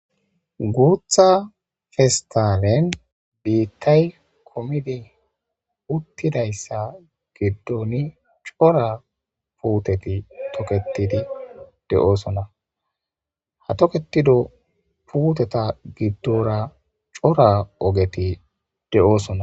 Bootha pestaleni biitayi kumidi utidaysa gidoni cora puuteti toketidi de'osona, ha toketido puuteta gidora cora ogeti de'osona.